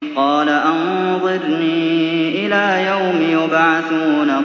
قَالَ أَنظِرْنِي إِلَىٰ يَوْمِ يُبْعَثُونَ